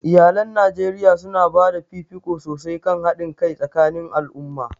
Iyalan Najeriya su na ba da fifiko sosai kan haɗin kai tsakanin al'umma.